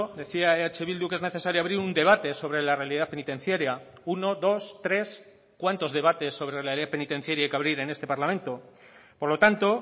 decía eh bildu que es necesario abrir un debate sobre la realidad penitenciaria uno dos tres cuántos debates sobre realidad penitenciaria hay que abrir en este parlamento por lo tanto